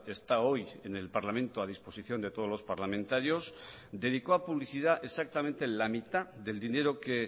está hoy en el parlamento a disposición de todos los parlamentarios dedicó a publicidad exactamente la mitad del dinero que